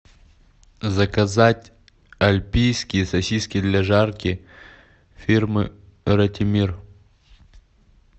заказать альпийские сосиски для жарки фирмы ратимир